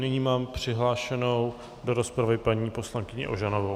Nyní mám přihlášenou do rozpravy paní poslankyni Ožanovou.